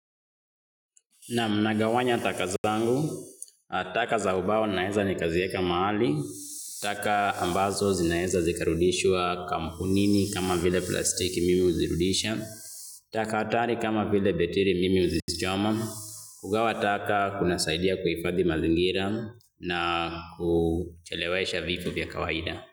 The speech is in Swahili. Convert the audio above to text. Naam nagawanya taka zangu taka za ubao naweza nikazieka mahali taka ambazo zinaeza zikarudishwa kampunini kama vile plastiki mimi huzirudisha taka hatari kama vile betiri mimi huzichoma kuga wa taka kuna saidia kuhifadhi mazin gira na kuchele wesha vitu vya kawaida.